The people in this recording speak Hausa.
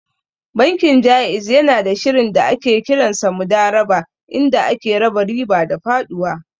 Bankin Ja'iz yanada shirin da ake kiransa Mudarabah inda ake raba riba da faɗuwa.